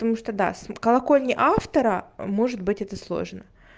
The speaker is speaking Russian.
потому что да с колокольни автора может быть это сложно